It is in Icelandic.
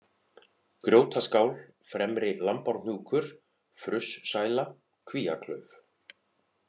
Grjótaskál, Fremri-Lambárhnjúkur, Frussæla, Kvíaklauf